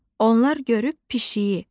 Onlar görüb pişiyi.